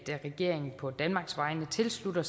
eus ydre